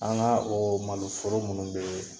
An ga o o maloforo minnu bee